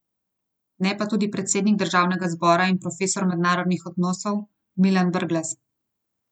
Ne pa tudi predsednik državnega zbora in profesor mednarodnih odnosov Milan Brglez.